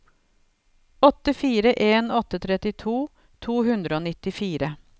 åtte fire en åtte trettito to hundre og nittifire